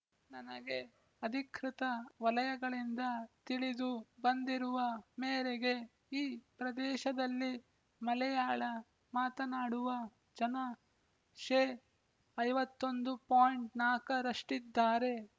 ನನಗೆ ಅಧಿಕೃತ ವಲಯಗಳಿಂದ ತಿಳಿದು ಬಂದಿರುವ ಮೇರೆಗೆ ಈ ಪ್ರದೇಶದಲ್ಲಿ ಮಲೆಯಾಳ ಮಾತನಾಡುವ ಜನ ಶೇ ಐವತ್ತ್ ಒಂದು ಪೋಯಿಂಟ್ ನಾಲ್ಕರಷ್ಟಿದ್ದಾರೆ